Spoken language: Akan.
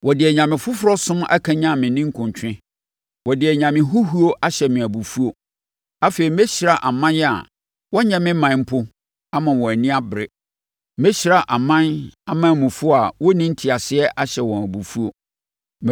Wɔde anyame foforɔ som akanyane me ninkuntwe; wɔde anyame huhuo ahyɛ me abufuo. Afei, mɛhyira aman a wɔnyɛ me ɔman mpo ama wɔn ani abere; mɛhyira aman amanmufoɔ a wɔnni nteaseɛ ahyɛ wɔn abufuo.